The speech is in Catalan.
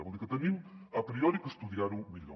vol dir que hem a priori d’estudiar ho millor